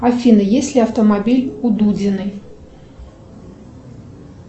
афина есть ли автомобиль у дудиной